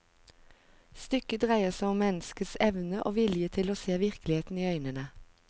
Stykket dreier seg om menneskets evne og vilje til å se virkeligheten i øynene.